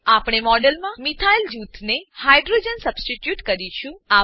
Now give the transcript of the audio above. આપણે મોડેલમાં methyl methyl જૂથ સાથે હાઇડ્રોજન હાઈડ્રોજન સબસ્ટીટ્યુટ કરીશું